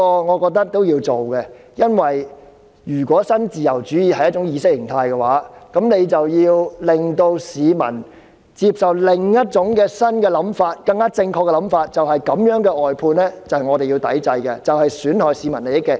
我認為這是要做的，因為如果新自由主義是一種意識形態，我們便要令市民接受另一種新想法，是更正確的想法，就是這種外判制度是要抵制的，因其損害市民利益。